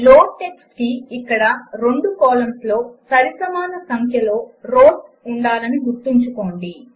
loadtxtకి ఇక్కడ రెండు కాలమ్స్ లో సరిసమాన సంఖ్యలో రౌస్ ఉండాలని గుర్తుంచుకోండి